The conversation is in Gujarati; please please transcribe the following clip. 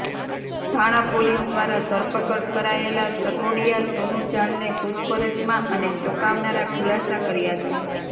થાણા પોલીસ દ્વારા ધરપકડ કરાયેલા સટોડિયા સોનુ જાલને પૂછપરછમાં અને ચોંકાવનારા ખુલાસા કર્યા છે